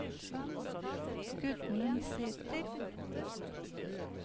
Gudmund Sæter